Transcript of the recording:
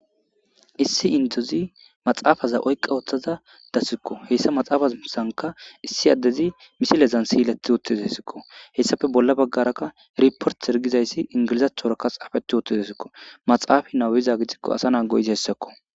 Issi indozi maxaafaza oyqa ooththaza dassikko heyssa maxaafasanka issi addezi misilezan siyileti wootezesikko hessafe bolla baggarakka riport ergizayssi ingilizathorakka xaafeti woothtezesikko maxaafa nawiza gitikko asa naa go'izi hessakko